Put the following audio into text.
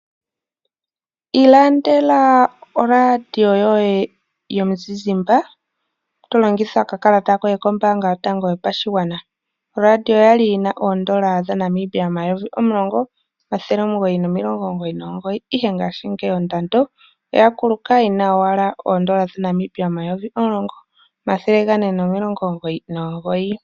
Ilandela oRadio yoye yomuzizimbe tolongitha oka kalata koye kombanga yotango yopashigwana. Oradio okwali yina 10999 ihe ngashingeyi ondando oya kuluka yina owala 10499.